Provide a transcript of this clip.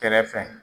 Kɛrɛfɛ